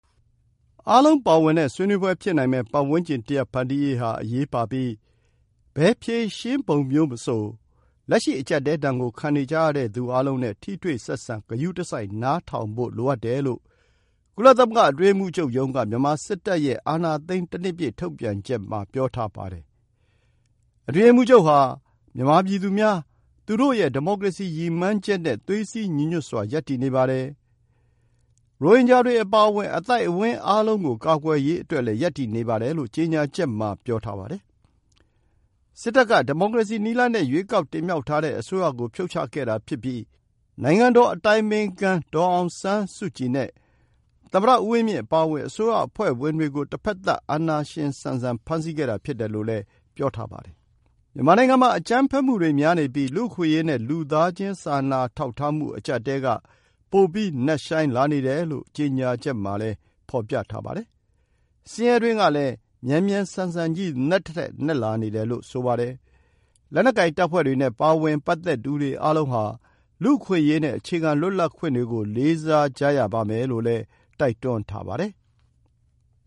အားလုံးပါဝင်တဲ့ ဆွေးနွေးပွဲဖြစ်နိုင်မယ့် ပတ်ဝန်းကျင်တရပ် ဖန်တီးရေးဟာ အရေးပါပြီး ဘယ်ဖြေရှင်းပုံမျိုးမှာမဆို လက်ရှိ အကျပ်အတည်းဒဏ်ကို ခံနေကြရသူ အားလုံးနဲ့ ထိတွေ့ဆက်ဆံ ဂရုတစိုက် နားထောင်ဖို့လိုအပ်တယ်လို့ ကုလသမဂ္ဂအတွင်းရေးမှူးချုပ်ရုံးက မြန်မာစစ်တပ်ရဲ့ အာဏာသိမ်း တနှစ်ပြည့် ထုတ်ပြန်ချက်မှာ ပြောထားပါတယ်။ အတွင်းရေးမှူးချုပ်ဟာ မြန်မာပြည်သူများ၊ သူတို့ရဲ့ ဒီမိုကရေစီရည်မှန်းချက်နဲ့ သွေးစည်းညီညွတ်စွာ ရပ်တည်နေပါတယ်၊ ရိုဟင်ဂျာတွေအပါအဝင် အသိုက်အဝန်းအားလုံးကို ကာကွယ်ရေးအတွက်လည်း ရပ်တည်နေပါတယ်လို့ ကြေညာချက် မှာ ပြောပါတယ်။ စစ်တပ်က ဒီမိုကရေစီနည်းလမ်းနဲ့ ရွေးကောက်တင်မြှောက်ထားတဲ့အစိုးရကို ဖြုတ် ချခဲ့တာဖြစ်ပြီး နိုင်ငံတော်အတိုင်ပင်ခံ ဒေါ်အောင်ဆန်းစုကြည်နဲ့ သမ္မတဦးဝင်းမြင့် အပါအဝင် အစိုးရအဖွဲ့ဝင်တွေကို တဘက်သတ် အာဏာရှင်ဆန်ဆန် ဖမ်းဆီးခဲ့တာ ဖြစ်တယ်လို့လည်း ပြောထားပါတယ်။ မြန်မာနိုင်ငံမှာ အကြမ်းဖက်မှုတွေများနေပြီး လူ့အခွင့်အရေးနဲ့ လူသားချင်း စာနာထောက်ထားမှု အကျပ်အတည်းက ပိုပြီး နက်ရှိုင်းလာနေတယ်လို့ ကြေညာချက် မှာ ပြောထားပါတယ်။ ဆင်းရဲတွင်းကလည်း မြန်မြန်ဆန်ဆန်ကြီး နက်သထက် နက်လာနေတယ်လို့ ဆိုပါတယ်။ လက်နက်ကိုင်တပ်ဖွဲ့တွေနဲ့ ပတ်သက်သူတွေအားလုံးဟာ လူ့အခွင့်အရေးနဲ့ အခြေခံ လွတ်လပ်ခွင့်တွေကို လေးစားရရပါမယ်လို့လည်း တိုက်တွန်းထားပါတယ်။